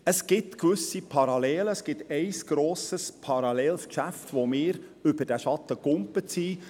Es gibt gewisse Parallelen zu einem grossen Geschäft, wo wir über diesen Schatten gesprungen sind.